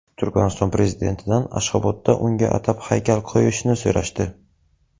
Turkmaniston prezidentidan Ashxobodda unga atab haykal qo‘yishni so‘rashdi.